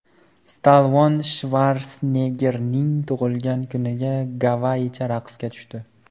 Stallone Shvarseneggerning tug‘ilgan kunida gavayicha raqsga tushdi .